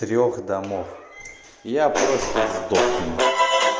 трёх домов я просто сдохну